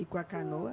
E com a canoa?